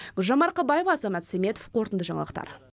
гүлжан марқабаева азамат сәметов қорытынды жаңалықтар